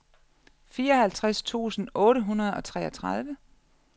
fireoghalvtreds tusind otte hundrede og treogtredive